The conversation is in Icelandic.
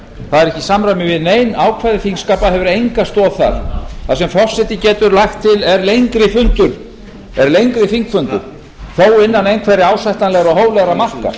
það er ekki í samræmi við nein ákvæði þingskapa og hefur enga stoð þar það sem forseti getur lagt til er lengri þingfundur þó innan einhverra ásættanlegra og hóflegra marka